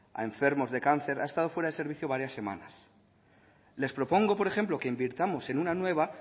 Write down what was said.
a enfermos de cáncer ha estado fuera de servicio varias semanas les propongo por ejemplo que invirtamos en una nueva